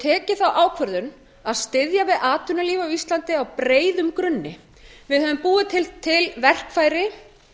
tekið þá ákvörðun að styðja við atvinnulíf á íslandi á breiðum grunni við höfum búið til verkfæri